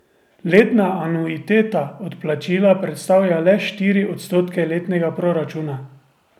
Letna anuiteta odplačila predstavlja le štiri odstotke letnega proračuna.